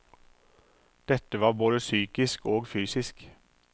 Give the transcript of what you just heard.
Dette var både psykisk og fysisk.